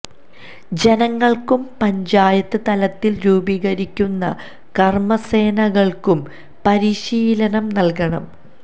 ജനങ്ങൾക്കും പഞ്ചായത്ത് തലത്തിൽ രൂപീകരിക്കുന്ന കർമ സേനകൾക്കും പരിശീലനം നൽകണം